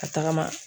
Ka tagama